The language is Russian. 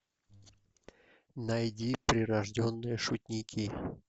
найди прирожденные шутники